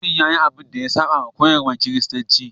Limamin ya yi abin da ya saba wa koyarwar Kiristanci.